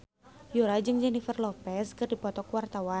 Yura jeung Jennifer Lopez keur dipoto ku wartawan